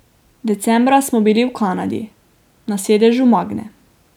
Decembra smo bili v Kanadi na sedežu Magne.